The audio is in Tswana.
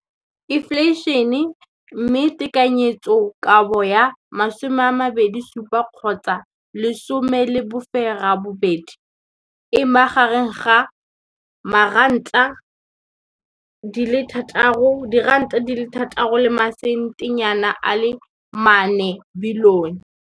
Infleišene, mme tekanyetsokabo ya 2017, 18, e magareng ga R6.4 bilione.